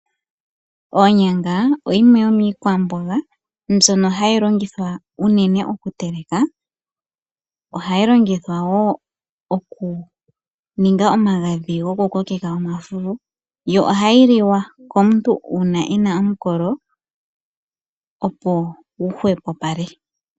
Onyanga oyo yimwe yomiikwamboga mbyono hayi longithwa unene okuteleka. Ohayi longithwa wo okuninga omagadhi gokukokeka omafufu, yo ohayi liwa komuntu uuna e na omukolo opo gu hwepopale.